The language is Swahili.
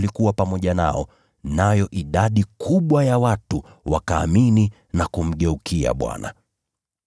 Mkono wa Bwana ulikuwa pamoja nao, nayo idadi kubwa ya watu wakaamini na kumgeukia Bwana.